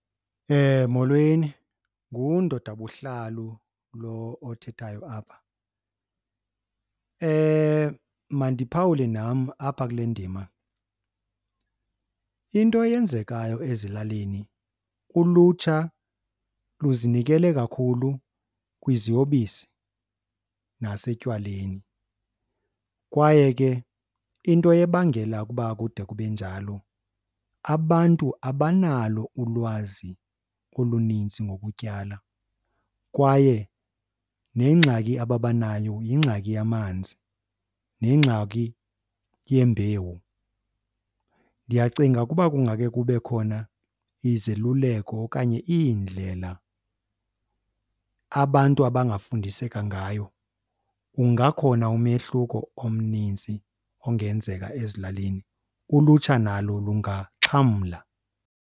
Molweni, nguNdoda Buhlalu lo othethayo apha. Mandiphawule nam apha kule ndima. Into eyenzekayo ezilalini ulutsha luzinikele kakhulu kwiziyobisi nasetywaleni kwaye ke into ebangela ukuba kude kube njalo abantu abanalo ulwazi oluninzi ngokutyala kwaye nengxaki ababanayo yingxaki yamanzi nengxaki yembewu. Ndiyacinga ukuba kungake kube khona izeluleko okanye iindlela abantu abangafundiseka ngayo ungakhona umehluko omninzi ongenzeka ezilalini, ulutsha nalo lungaxhamla.